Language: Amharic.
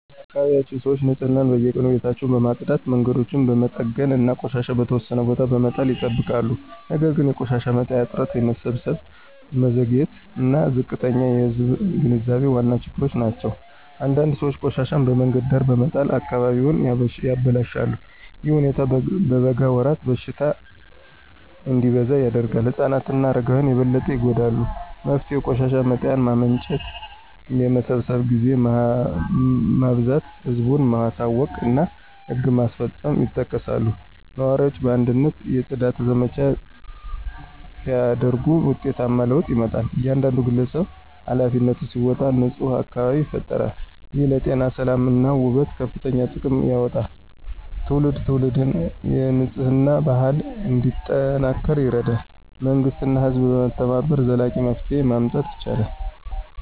በአካባቢያችን ሰዎች ንፅህናን በየቀኑ ቤታቸውን በማጽዳት መንገዶችን በመጠገን እና ቆሻሻ በተወሰነ ቦታ በመጣል ይጠብቃሉ ነገር ግን የቆሻሻ መጣያ እጥረት የመሰብሰብ መዘግየት እና ዝቅተኛ የህዝብ ግንዛቤ ዋና ችግሮች ናቸው። አንዳንድ ሰዎች ቆሻሻቸውን በመንገድ ዳር በመጣል አካባቢውን ያበላሻሉ። ይህ ሁኔታ በበጋ ወራት በሽታ እንዲበዛ ያደርጋል። ህፃናት እና አረጋውያን በበለጠ ይጎዳሉ። መፍትሄው የቆሻሻ መጣያ ማመንጨት የመሰብሰብ ጊዜ ማብዛት ህዝብን ማሳወቅ እና ህግ ማስፈጸም ይጠቀሳሉ። ነዋሪዎች በአንድነት የጽዳት ዘመቻ ሲያደርጉ ውጤታማ ለውጥ ይመጣል። እያንዳንዱ ግለሰብ ኃላፊነቱን ሲወጣ ንፁህ አካባቢ ይፈጠራል። ይህ ለጤና ሰላም እና ውበት ከፍተኛ ጥቅም ያመጣል። ትውልድ ትውልድ የንፅህና ባህል እንዲጠናከር ይረዳል መንግሥት እና ህዝብ በመተባበር ዘላቂ መፍትሄ ማምጣት ይችላሉ።